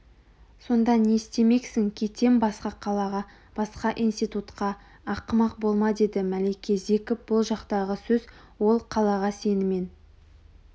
сонда не істемексің кетем басқа қалаға басқа институтқа ақымақ болма деді мәлике зекіп бұл жақтағы сөз ол қалаға сенімен